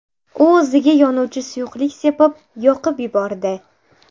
U o‘ziga yonuvchi suyuqlik sepib, yoqib yubordi.